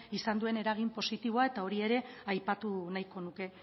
izan duen eragin positiboa eta hori ere aipatu nahiko nuke